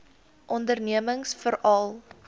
ondernemingsveral